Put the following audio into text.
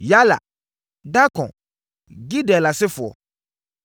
Yaala Darkon Gidel asefo tc1